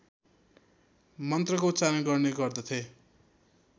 मन्त्रको उच्चारण गर्ने गर्दथे